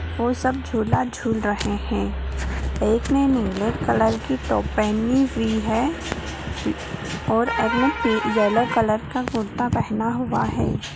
वो सब झुला झूल रहे हैं एक ने नीले कलर की टॉप पहनी हुई है और अगले ने येलो कलर का कुर्ता पहना हुआ है।